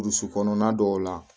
Burusi kɔnɔna dɔw la